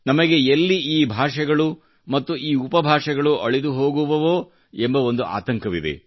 ನಮಗೆ ಎಲ್ಲಿ ಈ ಭಾಷೆಗಳೂ ಮತ್ತು ಈ ಉಪಭಾಷೆಗಳು ಅಳಿದುಹೋಗುವವೋ ಎಂಬ ಒಂದು ಆತಂಕವಿದೆ